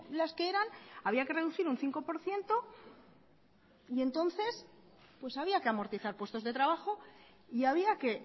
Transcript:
las que eran había que reducir un cinco por ciento y entonces pues había que amortizar puestos de trabajo y había que